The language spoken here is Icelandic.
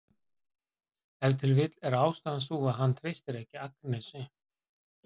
Ef til vill er ástæðan sú að hann treystir ekki Agnesi.